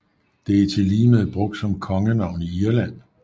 Det er tilligemed brugt som kongenavn i Irland